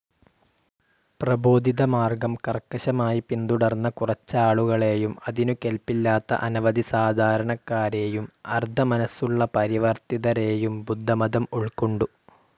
പ്രബോധിതമാർഗ്ഗം കർക്കശമായി പിന്തുടർന്ന കുറച്ചാളുകളെയും, അതിനു കെൽപ്പില്ലാത്ത അനവധി സാധാരണക്കാരെയും, അർദ്ധമനസ്സുള്ള പരിവർത്തിതരേയും ബുദ്ധമതം ഉൾക്കൊണ്ടു.